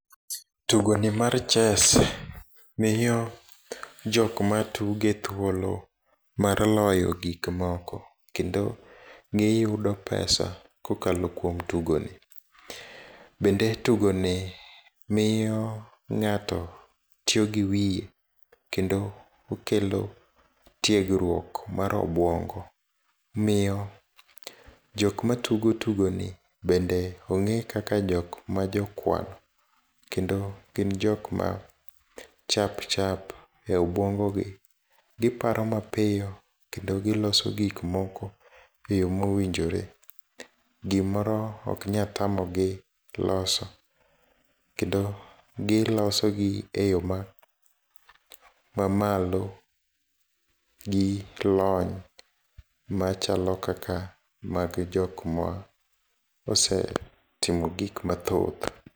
Tugoni mar chess miyo jok matuge thuolo mar loyo gikmoko, kendo giyudo pesa kokalo kuom tugoni. Bende tugoni miyo ng'ato tiyogi wiye, kendo okelo tiegruok mar obuongo. Miyo jokma tugo tugoni bende ong'e kaka jokma jokuang', kendo gin jokma chap chap e obuongogi. Giparo mapiyo kendo giloso gikmoko e yo mowinjore. Gimoro oknyalo tamogi loso, kendo gilosogi e yo mamalo gilony machalo kaka mag jokma ose timo gikma thoth.